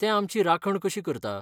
तें आमची राखण कशी करता?